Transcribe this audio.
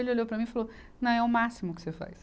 Ele olhou para mim e falou, não, é o máximo que você faz.